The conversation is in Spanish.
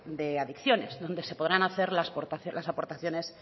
de adicciones donde se podrán hacer las aportaciones